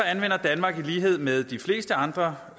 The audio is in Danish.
anvender danmark i lighed med de fleste andre